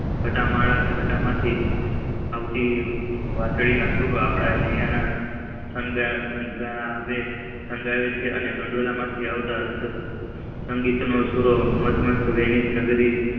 ગાંઠ માંથી આવતી વશં ના સુર આપણા હૈયા સાઘશો છે અને ગંઠાયેલા માંથી આવતા સંગીત ના સૂરોમાસ્ટ માધ્મસ્ત વર્નીશ નગરી